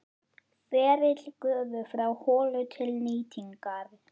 Ferill gufu frá holu til nýtingar